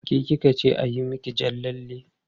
Ke ki ka ce a yi miki jan lalle?